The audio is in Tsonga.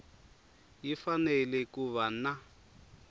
yi fanele ku va na